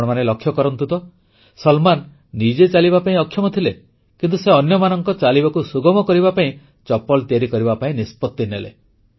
ଆପଣମାନେ ଲକ୍ଷ୍ୟ କରନ୍ତୁ ତ ସଲମାନ ନିଜେ ଚାଲିବା ପାଇଁ ଅକ୍ଷମ ଥିଲେ କିନ୍ତୁ ସେ ଅନ୍ୟମାନଙ୍କ ଚାଲିବାକୁ ସୁଗମ କରିବା ପାଇଁ ଚପଲ ତିଆରି କରିବା ପାଇଁ ନିଷ୍ପତ୍ତି ନେଲେ